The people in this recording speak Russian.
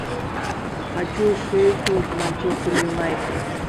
хочу шеффилд манчестер юнайтед